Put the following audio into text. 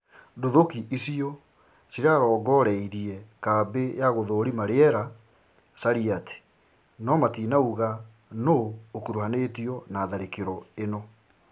Nduthũki icio cĩrarongoreorie kambĩ ya gũthũrima rĩera Sharyat no matinauga nũ ũkũruhanĩtio na tharakĩro ĩno